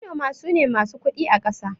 Manoma sune masu kudi akasa